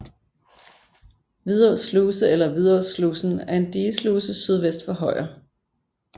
Vidå Sluse eller Vidåslusen er en digesluse sydvest for Højer